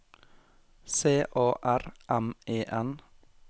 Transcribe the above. C A R M E N